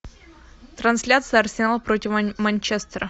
трансляция арсенал против манчестера